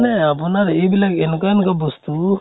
মানে আপোনাৰ এইবিলাক এনুকে এনুকে বস্তু